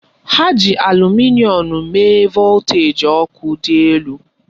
Ha ji alumịnịọn mee voltaji ọkụ dị elu.